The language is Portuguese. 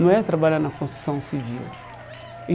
Não é trabalhar na construção civil e.